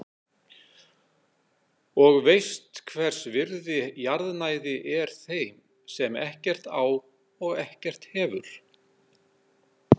Og veist hvers virði jarðnæði er þeim sem ekkert á og ekkert hefur.